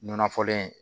Nɔnɔ fɔlen